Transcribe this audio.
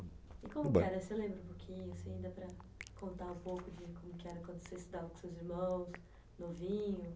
E como que era? Você se lembra um pouquinho, assim, dá para contar um pouco de como era quando você estudava com seus irmãos, novinho?